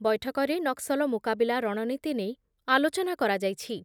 ବୈଠକରେ ନକ୍ସଲ ମୁକାବିଲା ରଣନୀତି ନେଇ ଆଲୋଚନା କରାଯାଇଛି ।